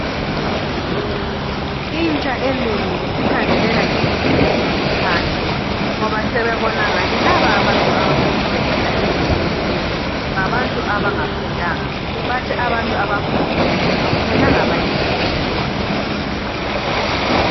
Intsha enengi isikhangelela imithi yesintu phansi ngoba sebebona ngani laba abasebenzisa imithi yesintu ngabantu abangafundanga bathi abantu abafundileyo akumelanga bayisebenzise